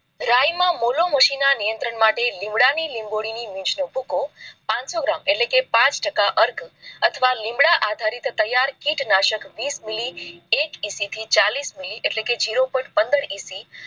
રાય માં નિયંત્રણ માટે, લીંબડા ની લીંબોળી ની મિશ નો ભૂકો પાંચસો gram એટલે કે પાંચ ટકા અર્ક અથવા લીંબડા આધારિત તૈયાર કીટનાશક વિસ મિલી એક EC થી ચાલીસ મિલી એટલે કે zero point પંદર EC